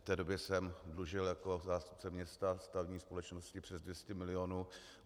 V té době jsem dlužil jako zástupce města stavební společnosti přes 200 milionů.